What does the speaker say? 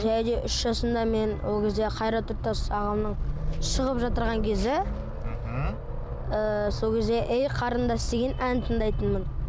және де үш жасымда мен ол кезде қайрат нұртас ағамның шығып кезі мхм ыыы сол кезде ей қарындас деген әнін тыңдайтынмын